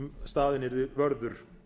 staðinn yrði vörður